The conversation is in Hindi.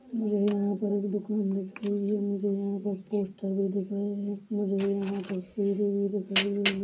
मुझे यहाँ पर एक दुकान दिख रहा है मुझे यहाँ पर पोस्टर भी दिखाइए मुझे यहाँ पर-- ]